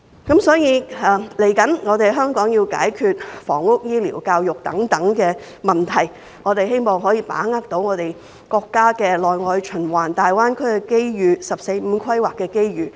香港未來還要解決房屋、醫療、教育等問題，我們希望可以把握國家"內外循環"、大灣區的機遇、"十四五"規劃的機遇。